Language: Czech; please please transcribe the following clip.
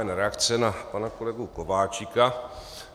Jen reakce na pana kolegu Kováčika.